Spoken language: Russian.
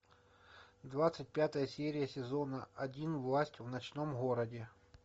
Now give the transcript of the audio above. двадцать пятая серия сезона один власть в ночном городе